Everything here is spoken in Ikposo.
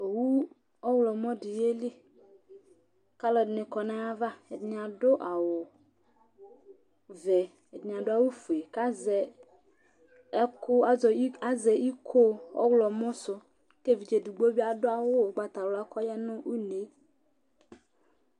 Owu ɔwlɔmɔ ɖi yeli Alʋɛdìní kɔ ŋu ava Ɛɖìní ɛwu vɛ kʋ ɛɖìní aɖu awu fʋe Azɛ iko ɔwlɔmɔ su kʋ evidze ɛɖigbo bi aɖu awu ugbatawla kʋ ɔya ŋu ʋne